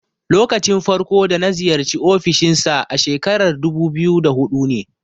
Lokacin farko da na ziyarci ofishin sa a shekarar dubu biyu da huɗu ne.